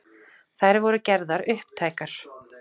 Þær voru gerðar upptækar